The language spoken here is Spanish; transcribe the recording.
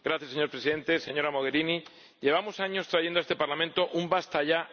Señor Presidente, señora Mogherini, llevamos años trayendo a este Parlamento un ¡Basta ya!